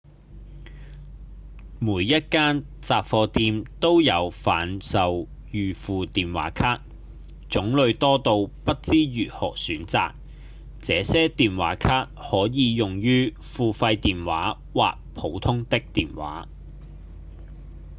每一間雜貨店都有販售預付電話卡種類多到不知如何選擇這些電話卡可以用於付費電話或普通的電話